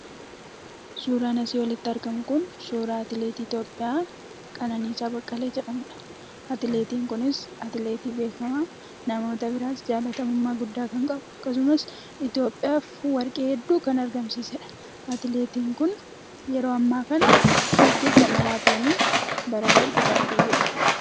Suuraan asii olitti argamu kun suuraa atileetii Itoophiyaa Qananiisaa Baqqalee jedhamudha. Atileetiin kunis atileetii beekamaa namoota biratti jaallatamummaa guddaa kan qabu akkasumas Itoophiyaaf warqee hedduu kan argamsiisedha. Atileetiin kun yeroo ammaa kana fiigicha maraatoonii bara darbe kan fiigedha.